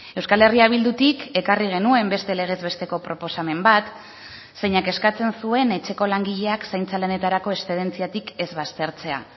euskal herria bildutik ekarri genuen beste legez besteko proposamen bat zeinak eskatzen zuen etxeko langileak zaintza lanetarako eszedentziatik ez baztertzea